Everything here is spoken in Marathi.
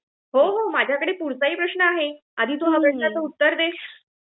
हो हो, माझ्याकडे पुढचा ही प्रश्न आहे, पण आधी तू या प्रश्नाच उत्तर दे